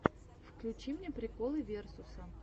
включи мне приколы версуса